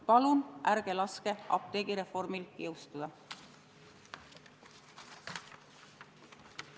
Palun ärge laske apteegireformil jõustuda!